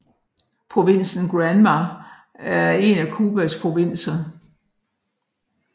Provinsen Granma er en af Cubas provinser